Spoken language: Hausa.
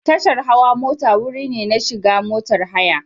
Tashar hawa mota wuri ne na shiga motar haya.